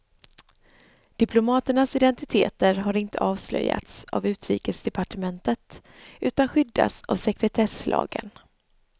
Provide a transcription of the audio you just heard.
Diplomaternas identiteter har inte avslöjats av utrikesdepartementet utan skyddas av sekretesslagen.